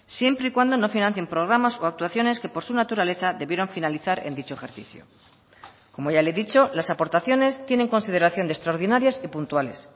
siempre y cuando no financien programas o actuaciones que por su naturaleza debieron finalizar en dicho ejercicio como ya le he dicho las aportaciones tienen consideración de extraordinarias y puntuales